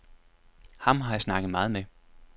Ham har jeg snakket meget med.